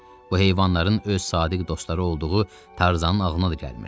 Bu heyvanların öz sadiq dostları olduğu Tarzanın ağlına da gəlmirdi.